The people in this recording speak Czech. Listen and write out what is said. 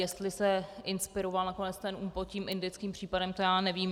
Jestli se inspiroval nakonec ten ÚPMOD tím indickým případem, to já nevím.